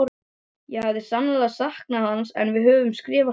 Ég hafði sannarlega saknað hans en við höfðum skrifast á.